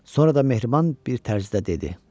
Sonra da mehriban bir tərzdə dedi: